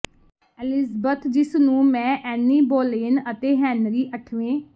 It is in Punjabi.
ਐਲਿਜ਼ਬਥ ਜਿਸ ਨੂੰ ਮੈਂ ਐਨੀ ਬੋਲੇਨ ਅਤੇ ਹੈਨਰੀ ਅੱਠਵੇਂ